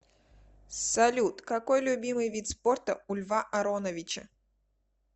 салют какой любимый вид спорта у льва ароновича